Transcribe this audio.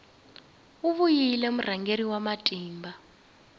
u vile murhangeri wa matimba